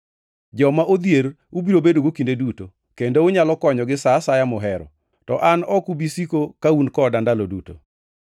Joma odhier ubiro bedogo kinde duto, kendo unyalo konyogi sa asaya muhero. To an ok ubi siko ka un koda ndalo duto.